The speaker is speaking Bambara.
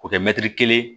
K'o kɛ kelen ye